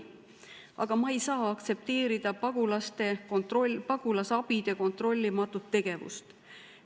Aga ma ei saa aktsepteerida pagulasabide kontrollimatut tegevust.